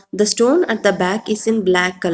The stone at the back is in black colour.